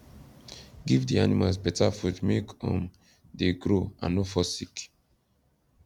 give the animals beta food make um the grow and no fall sick